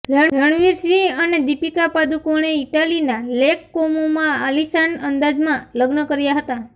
રણવીર સિંહ અને દીપિકા પાદુકોણે ઈટાલીના લેક કોમોમાં આલીશાન અંદાજમાં લગ્ન કર્યા હતા